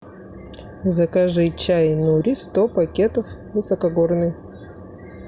закажи чай нури сто пакетов высокогорный